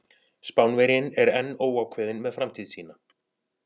Spánverjinn er enn óákveðinn með framtíð sína.